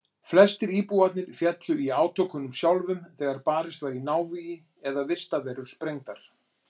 Flestir íbúarnir féllu í átökunum sjálfum þegar barist var í návígi eða vistarverur sprengdar.